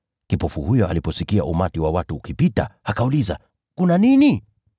Kipofu huyo aliposikia umati wa watu ukipita, akauliza, “Kuna nini?”